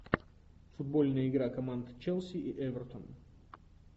футбольная игра команд челси и эвертон